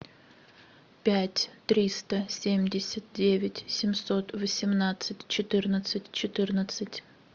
пять триста семьдесят девять семьсот восемнадцать четырнадцать четырнадцать